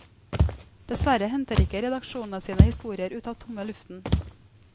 Dessverre henter ikke redaksjonene sine historier ut av tomme luften.